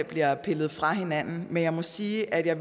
bliver pillet fra hinanden men jeg må sige at jeg